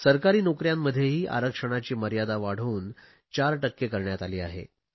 सरकारी नोकऱ्यांमध्येही आरक्षणाची मर्यादा वाढवून 4 टक्के करण्यात आली आहे